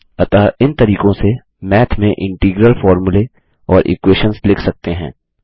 अतः इन तरीकों से मैथ में इंटीग्रल फॉर्मूले और इक्वेशंस लिख सकते हैं